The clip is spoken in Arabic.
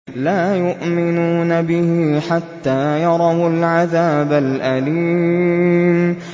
لَا يُؤْمِنُونَ بِهِ حَتَّىٰ يَرَوُا الْعَذَابَ الْأَلِيمَ